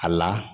A la